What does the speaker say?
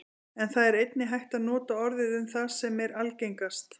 en það er einnig hægt að nota orðið um það sem er algengast